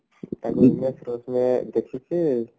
ଦେଖିକି